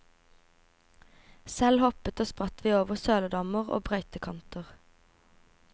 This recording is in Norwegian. Selv hoppet og spratt vi over søledammer og brøytekanter.